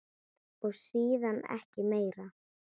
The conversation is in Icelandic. Og síðan ekki meir?